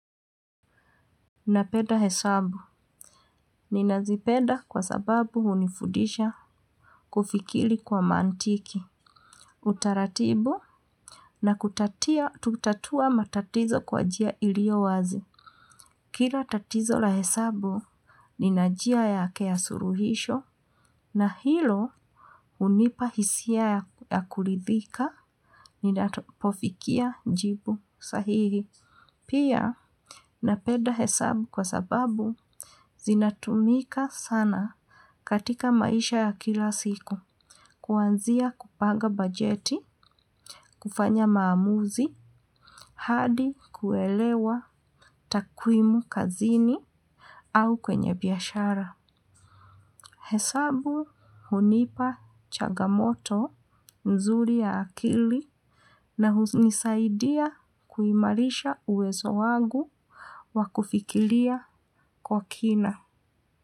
Napenda hesabu, ninazipeda kwa sababu hunifundisha kufikiri kwa mantiki, utaratibu na kutatia kuutatua matatizo kwa njia ilio wazi. Kila tatizo la hesabu nina njia yake ya suluhisho na hilo hunipa hisia ya kuridhika ninapofikia jibu sahihi. Pia napenda hesabu kwa sababu zinatumika sana katika maisha ya kila siku kuanzia kupanga bajeti, kufanya maamuzi hadi kuelewa takwimu kazini au kwenye biashara. Hesabu hunipa changamoto mzuri ya akili na hunisaidia kuimarisha uwezo wangu wa kufikiria kwa kina.